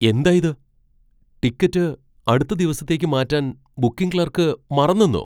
എന്താ ഇത്! ടിക്കറ്റ് അടുത്ത ദിവസത്തേക്ക് മാറ്റാൻ ബുക്കിംഗ് ക്ലർക്ക് മറന്നെന്നോ?